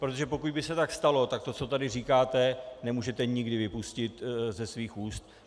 Protože pokud by se tak stalo, tak to, co tady říkáte, nemůžete nikdy vypustit ze svých úst.